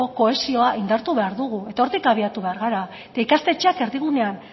kohesioa indartu behar dugu eta hortik abiatu behar gara eta ikastetxeak erdigunean